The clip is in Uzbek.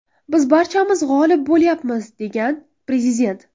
Biz barchamiz g‘olib bo‘lyapmiz”, degan prezident.